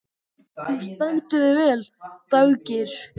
Þú stendur þig vel, Daggeir!